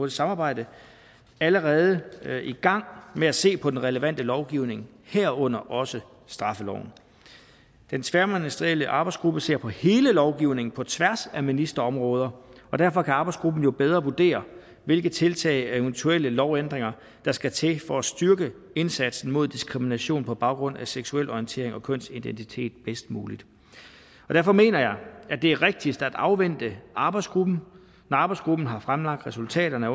samarbejde allerede i gang med at se på den relevante lovgivning herunder også straffeloven den tværministerielle arbejdsgruppe ser på hele lovgivningen på tværs af ministerområder og derfor kan arbejdsgruppen jo bedre vurdere hvilke tiltag og eventuelle lovændringer der skal til for at styrke indsatsen mod diskrimination på baggrund af seksuel orientering og kønsidentitet bedst muligt derfor mener jeg at det er rigtigst at afvente arbejdsgruppens resultater og når arbejdsgruppen har fremlagt resultaterne